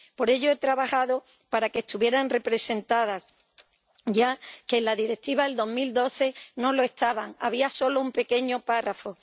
Por ello, he trabajado para que estuvieran representadas, ya que en la Directiva de 2012 no lo estaban —había solo una pequeña referencia—.